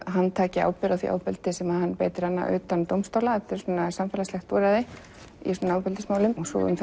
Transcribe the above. hann taki ábyrgð á því ofbeldi sem hann beitti hana utan dómstóla þetta er samfélagslegt úrræði í ofbeldismálum svo um